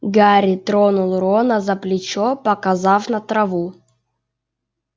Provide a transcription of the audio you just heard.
гарри тронул рона за плечо показав на траву